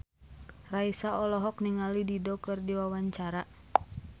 Raisa olohok ningali Dido keur diwawancara